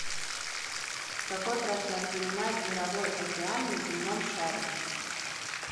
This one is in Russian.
какой процент занимает мировой океан на земном шаре